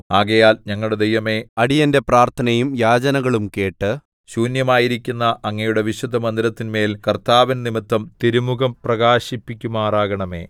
ആകയാൽ ഞങ്ങളുടെ ദൈവമേ അടിയന്റെ പ്രാർത്ഥനയും യാചനകളും കേട്ട് ശൂന്യമായിരിക്കുന്ന അങ്ങയുടെ വിശുദ്ധമന്ദിരത്തിന്മേൽ കർത്താവിൻ നിമിത്തം തിരുമുഖം പ്രകാശിപ്പിക്കുമാറാക്കണമേ